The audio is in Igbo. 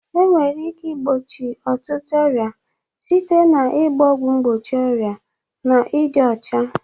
Enwere ike igbochi ọtụtụ ọrịa site na ịgba ọgwụ mgbochi ọrịa na ịdị ọcha.